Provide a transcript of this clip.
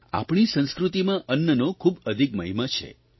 આપણી સંસ્કૃતિમાં અન્નનો ખૂબ અધિક મહિમા છે